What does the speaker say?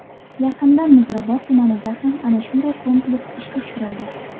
Yaqinda Muzrabot tumanida ham ana shunday kompleks ishga tushirildi.